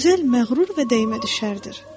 Gözəl məğrur və dəymədüşərdir.